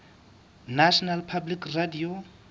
national public radio